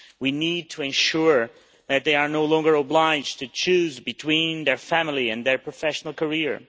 We need to ensure that they are no longer obliged to choose between their family and their professional career.